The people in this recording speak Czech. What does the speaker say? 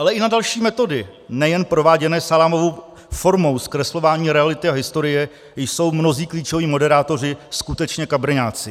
Ale i na další metody, nejen prováděné salámovou formou zkreslování reality a historie, jsou mnozí klíčoví moderátoři skutečně kabrňáci.